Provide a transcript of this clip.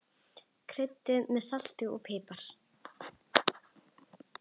Kryddið með salti og pipar.